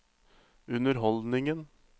underholdningen